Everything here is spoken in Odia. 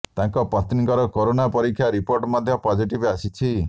ତାଙ୍କ ପତ୍ନୀଙ୍କର କରୋନା ପରୀକ୍ଷା ରିପୋର୍ଟ ମଧ୍ୟ ପଜିଟିଭ୍ ଆସିଛି